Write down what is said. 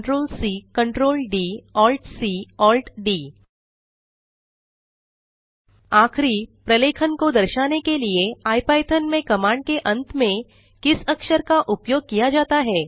Ctrl C Ctrl D Alt C Alt D आखिरी प्रलेखन को दर्शाने के लिए इपिथॉन में कमांड के अंत में किस अक्षर का उपयोग किया जाता है